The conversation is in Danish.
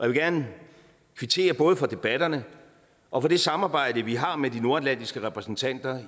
vil gerne kvittere både for debatterne og for det samarbejde vi har med de nordatlantiske repræsentanter